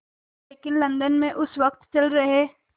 लेकिन लंदन में उस वक़्त चल रहे